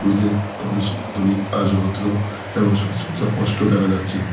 তে অভিশেখ হাতরি আজ রুদ্র এবং সাজসজ্জা স্পষ্ট দেখা যাচ্ছে।